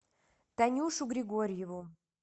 танюшу григорьеву